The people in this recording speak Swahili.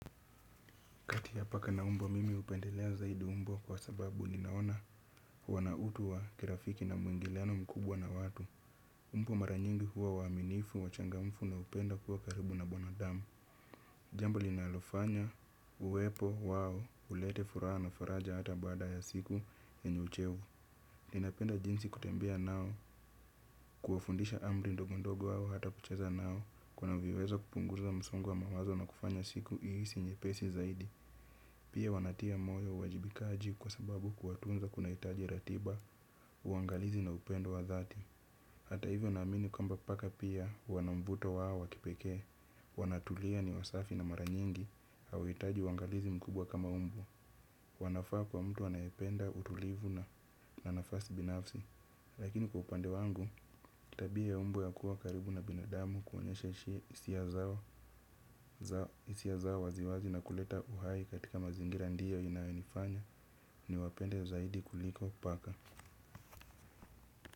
Kati ya paka na umbwa mimi upendelea zaidi umbwa kwa sababu nimeona wana utu wa kirafiki na mwingileano mkubwa na watu. Umbwa mara nyingi huwa waaminifu, wachangamfu na upenda kuwa karibu na binadamu. Jambu linalofanya, uwepo wao, ulete furaha na faraja hata bada ya siku ni uchevu ninapenda jinsi kutembia nao, kuwafundisha amri ndogondogo au hata kucheza nao, kuna viwezo kupunguza msongo wa mawazo na kufanya siku iisi nyepesi zaidi. Pia wanatia moyo uwajibikaji kwa sababu kuwatunza kuna itajiratiba uangalizi na upendo wa dhati. Hata hivyo na amini kwamba paka pia wanavuto wao wa kipeke. Wanatulia ni wasafi na maranyingi hawaitaji uangalizi mkubwa kama umbwa. Wanafaa kwa mtu anayependa utulivu na nafasi binafsi. Lakini kwa upande wangu, tabia ya umbwa ya kuwa karibu na binadamu kuonyesha hisia zao hisia za waziwazi za kuleta uhai katika mazingira ndiyo inainifanya. Ni wapende zaidi kuliko paka.